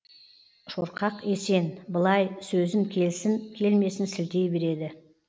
шорқақ есен былай сөзін келсін келмесін сілтей береді